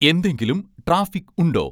എന്തെങ്കിലും ട്രാഫിക് ഉണ്ടോ